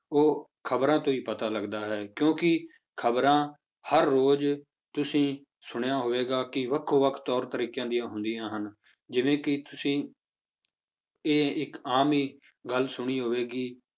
ਉਹ ਖ਼ਬਰਾਂ ਤੋਂ ਹੀ ਪਤਾ ਲੱਗਦਾ ਹੈ ਕਿਉਂਕਿ ਖ਼ਬਰਾਂ ਹਰ ਰੋਜ਼ ਤੁਸੀਂ ਸੁਣਿਆ ਹੋਵੇਗਾ ਕਿ ਵੱਖੋ ਵੱਖ ਤੌਰ ਤਰੀਕਿਆਂ ਦੀਆਂ ਹੁੰਦੀਆਂ ਹਨ, ਜਿਵੇਂ ਕਿ ਤੁਸੀਂ ਇਹ ਇੱਕ ਆਮ ਹੀ ਗੱਲ ਸੁਣੀ ਹੋਵੇਗੀ